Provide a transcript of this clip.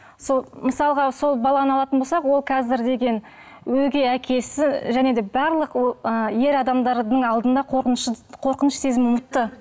сол мысалға сол баланы алатын болсақ ол қазір деген өгей әкесі және де барлық ер адамдардың алдында қорқыныш сезімін ұмытты